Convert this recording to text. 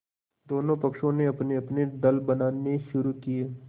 दोनों पक्षों ने अपनेअपने दल बनाने शुरू किये